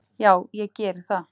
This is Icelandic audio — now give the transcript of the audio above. """Já, ég geri það."""